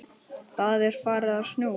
Það er farið að snjóa.